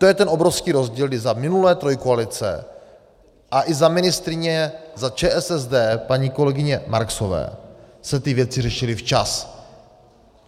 To je ten obrovský rozdíl, kdy za minulé trojkoalice a i za ministryně za ČSSD paní kolegyně Marksové se ty věci řešily včas.